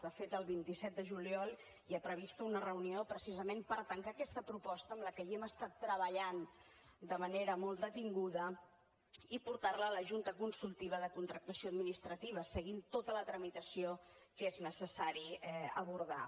de fet el vint set de juliol hi ha prevista una reunió precisament per tancar aquesta proposta en què hem estat treballant de manera molt detinguda i portarla a la junta consultiva de contractació administrativa seguint tota la tramitació que és necessari abordar